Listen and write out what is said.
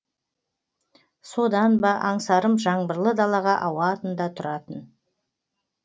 содан ба аңсарым жаңбырлы далаға ауатын да тұратын